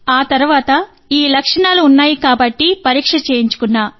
కాబట్టి ఆ తరువాత ఈ లక్షణాలున్నాయి కాబట్టి పరీక్ష చేయించుకున్నా